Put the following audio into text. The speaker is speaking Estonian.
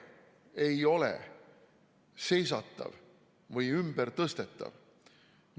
Aeg ei ole seisatatav või ümbertõstetav.